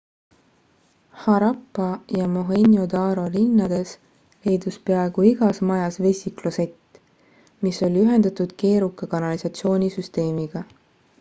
harappa ja mohenjo-daro linnades leidus peaaegu igas majas vesiklosett mis oli ühendatud keeruka kanalisatsioonisüsteemiga